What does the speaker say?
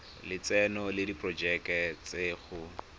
lotseno le diporojeke tsa go